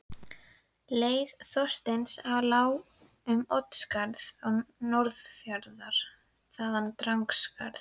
Leið Þorsteins lá um Oddsskarð til Norðfjarðar, þaðan Drangaskarð til